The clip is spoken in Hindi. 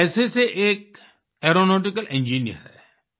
ये पेशे से एक एयरोनॉटिकल इंजिनियर हैं